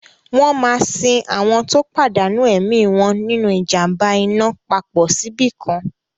Wọ́n máa sin àwọn tó pàdánù ẹ̀mí wọn nínu ìjàm̀ba iná papọ̀ síbìkan